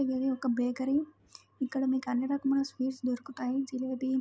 ఇది ఒక బేకరీ ఇక్కడ అన్ని రకముల స్వీట్స్ దొరుకుతాయ జిలేబి--